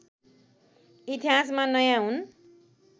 इतिहासमा नयाँ हुन्